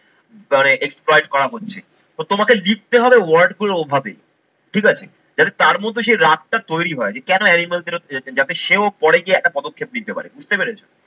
মানে exploit করা হচ্ছে। তো তোমাকে লিখতে হবে word গুলো ওভাবেই ঠিক আছে। যাতে তার মধ্যে সেই রাগটা তৈরি হয় যে কেন animals এরকম যাবে। যাতে সেও পরে গিয়ে একটা পদক্ষেপ নিতে পারে বুঝতে পেরেছো?